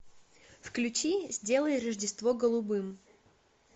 включи сделай рождество голубым